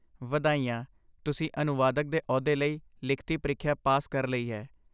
ਵਧਾਈਆਂ! ਤੁਸੀਂ ਅਨੁਵਾਦਕ ਦੇ ਅਹੁਦੇ ਲਈ ਲਿਖਤੀ ਪ੍ਰੀਖਿਆ ਪਾਸ ਕਰ ਲਈ ਹੈ।